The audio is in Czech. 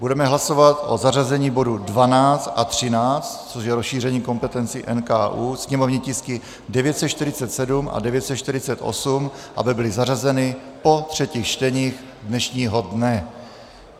Budeme hlasovat o zařazení bodu 12 a 13, což je rozšíření kompetencí NKÚ, sněmovní tisky 947 a 948, aby byly zařazeny po třetích čtení dnešního dne.